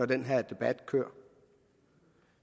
den her debat kører